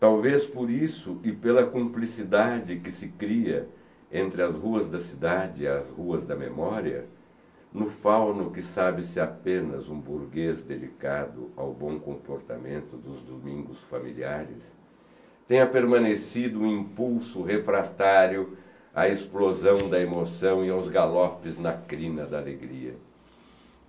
Talvez por isso e pela cumplicidade que se cria entre as ruas da cidade e as ruas da memória, no fauno que sabe-se apenas um burguês dedicado ao bom comportamento dos domingos familiares, tenha permanecido um impulso refratário à explosão da emoção e aos galopes na crina da alegria.